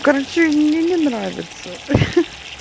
короче мне не нравятся хи-хи